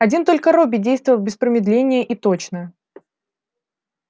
один только робби действовал без промедления и точно